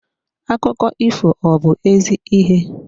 Akụkọ ifo ọ bu ezi ihe?